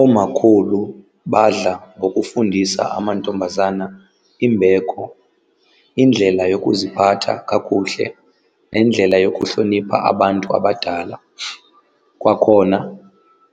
Oomakhulu badla ngokufundisa amantombazana imbeko, indlela yokuziphatha kakuhle nendlela yokuhlonipha abantu abadala. Kwakhona